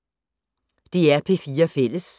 DR P4 Fælles